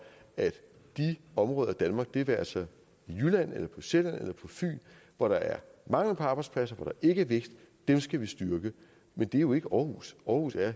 at de områder af danmark det være sig i jylland eller på sjælland eller på fyn hvor der er mangel på arbejdspladser og ikke er vækst skal vi styrke men det er jo ikke aarhus aarhus er